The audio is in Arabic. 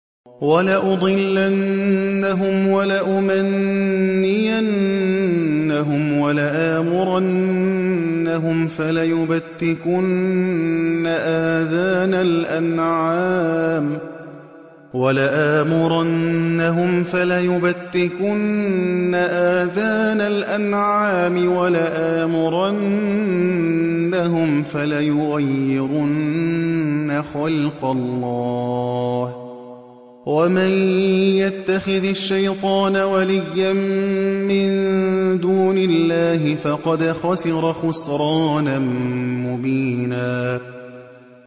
وَلَأُضِلَّنَّهُمْ وَلَأُمَنِّيَنَّهُمْ وَلَآمُرَنَّهُمْ فَلَيُبَتِّكُنَّ آذَانَ الْأَنْعَامِ وَلَآمُرَنَّهُمْ فَلَيُغَيِّرُنَّ خَلْقَ اللَّهِ ۚ وَمَن يَتَّخِذِ الشَّيْطَانَ وَلِيًّا مِّن دُونِ اللَّهِ فَقَدْ خَسِرَ خُسْرَانًا مُّبِينًا